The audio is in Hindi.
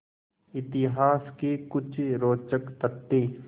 इतिहास के कुछ रोचक तथ्य